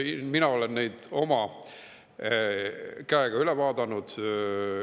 Mina olen neid oma käega üle vaadanud.